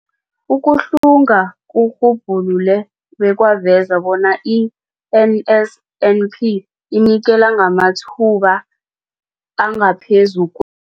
Ukuhlunga kurhubhulule bekwaveza bona i-NSNP inikela ngamathuba angaphezu